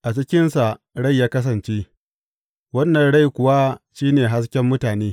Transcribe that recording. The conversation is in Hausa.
A cikinsa rai ya kasance, wannan rai kuwa shi ne hasken mutane.